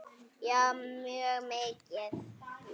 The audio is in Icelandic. Já mjög mikið.